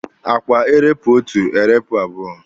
A kwa erepụ otu, erepụ abụọ?